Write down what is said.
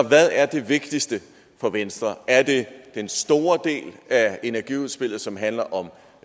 hvad er det vigtigste for venstre er det den store del af energiudspillet som handler om